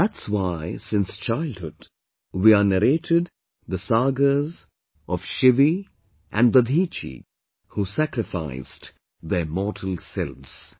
That's why since childhood we are narrated the sagas of Shivi and Dadhichi, who sacrificed their mortal selves